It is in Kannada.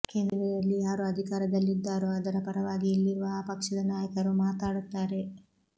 ಕೇಂದ್ರದಲ್ಲಿ ಯಾರು ಅಧಿಕಾರದಲ್ಲಿದ್ದಾರೋ ಅದರ ಪರವಾಗಿ ಇಲ್ಲಿರುವ ಆ ಪಕ್ಷದ ನಾಯಕರು ಮಾತಾಡುತ್ತಾರೆ